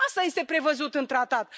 Asta este prevăzut în tratat.